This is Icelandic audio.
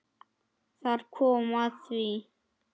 Þar kom að því!